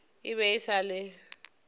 e be e sa le